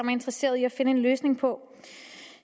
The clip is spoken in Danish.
er interesseret i at finde en løsning på